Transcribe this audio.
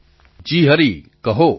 પ્રધાનમંત્રી જી હરિ કહો